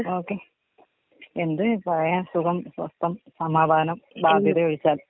ആ എന്ത് പറയാൻ സുഖം സ്വസ്ഥം സമാധാനം ബാധ്യത ഒഴിച്ചാൽ.